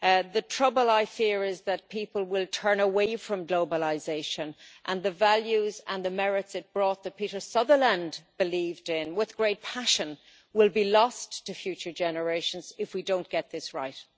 The trouble, I fear, is that people will turn away from globalisation, and that the values and the merits it brought that Peter Sutherland believed in with great passion will be lost to future generations if we do not get this right.